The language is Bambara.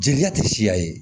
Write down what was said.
Jeliya tɛ siya ye